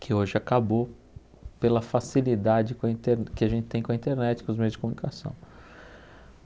que hoje acabou pela facilidade com a inter que a gente tem com a internet, com os meios de comunicação.